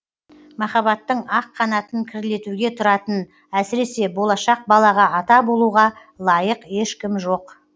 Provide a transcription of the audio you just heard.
махаббаттың ақ қанатын кірлетуге тұратын әсіресе болашақ балаға ата болуға лайық ешкім жоқ